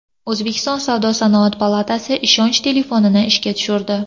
O‘zbekiston savdo-sanoat palatasi ishonch telefonini ishga tushirdi.